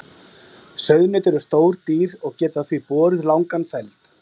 Sauðnaut eru stór dýr og geta því borið langan feld.